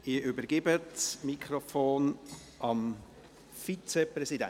Ich übergebe das Mikrofon dem Vizepräsidenten.